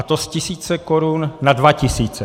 A to z tisíce korun na dva tisíce.